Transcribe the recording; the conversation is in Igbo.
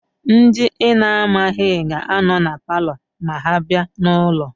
Ndị ị na-amaghị ga-anọ na paalọ ma ha bịa n'ụlọ.